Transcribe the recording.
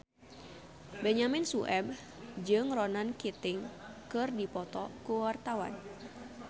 Benyamin Sueb jeung Ronan Keating keur dipoto ku wartawan